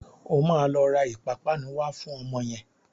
O máa lọ ra ìpapánu wá fún ọmọ yẹn.